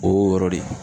O y'o yɔrɔ de ye